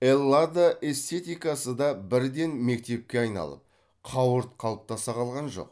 эллада эстетикасы да бірден мектепке айналып қауырт қалыптаса қалған жоқ